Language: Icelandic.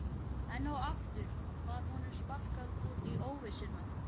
Enn og aftur var honum sparkað út í óvissuna.